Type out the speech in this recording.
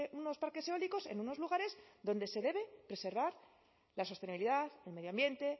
unos parques eólicos en unos lugares donde se debe preservar la sostenibilidad el medio ambiente